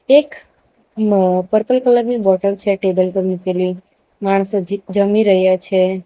એક મ purple colour ની બોટલ છે ટેબલ પર મૂકેલી માણસ હજી જમી રહ્યા છે.